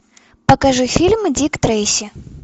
покажи фильм дик трейси